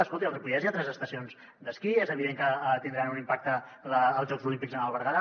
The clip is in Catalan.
escolti al ripollès hi ha tres estacions d’esquí és evident que tindran un impacte els jocs olímpics al berguedà